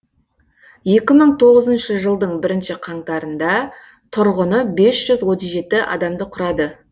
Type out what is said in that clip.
екі мың тоғызыншы жылдың бірінші қаңтарында тұрғыны бес жүз отыз жеті адамды құрады